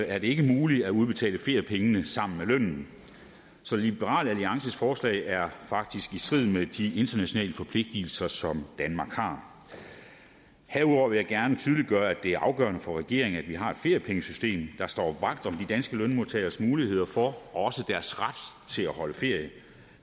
er det ikke muligt at udbetale feriepengene sammen med lønnen så liberal alliances forslag er faktisk i strid med de internationale forpligtelser som danmark har herudover vil jeg gerne tydeliggøre at det er afgørende for regeringen at vi har et feriepengesystem der står vagt om de danske lønmodtageres muligheder for og også deres ret til at holde ferie